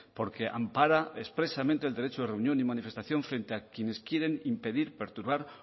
porque ampara expresamente el derecho de reunión y manifestación frente a quienes quieren impedir perturbar